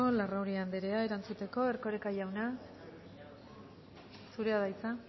larrauri anderea erantzuteko erkoreka jauna zurea da hitza